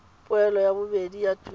poelo ya bobedi ya tuelo